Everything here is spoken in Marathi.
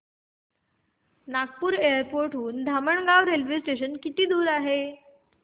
नागपूर एअरपोर्ट हून धामणगाव रेल्वे स्टेशन किती दूर आहे